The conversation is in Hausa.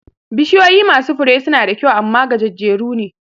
Bishiyoyi masu Fure suna da kyau amma gajejjeru ne